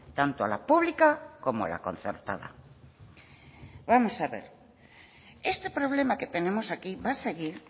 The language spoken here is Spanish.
tanto a la pública como la concertada vamos a ver este problema que tenemos aquí va a seguir